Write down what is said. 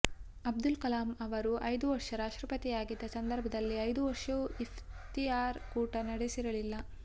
ಅಬ್ದುಲ್ ಕಲಾಂ ಅವರು ಐದು ವರ್ಷ ರಾಷ್ಟ್ರಪತಿ ಆಗಿದ್ದ ಸಂದರ್ಭದಲ್ಲಿ ಐದು ವರ್ಷವು ಇಫ್ತಿಯಾರ್ ಕೂಟ ನಡೆಸಿರಲಿಲ್ಲ